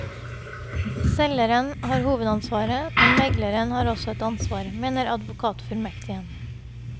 Selgeren har hovedansvaret, men megleren har også et ansvar, mener advokatfullmektigen.